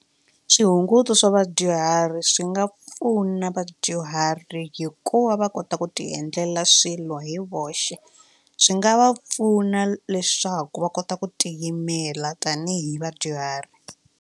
Swihunguto swa vadyuhari swi nga pfuna vadyuhari hikuva va kota ku tiendlela swilo hi voxe swi nga va pfuna leswaku va kota ku tiyimela tanihi vadyuhari.